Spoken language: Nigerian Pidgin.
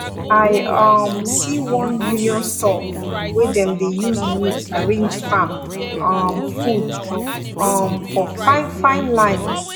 i um see one union store wey dem de use wood arrange farm um food um for fine fine line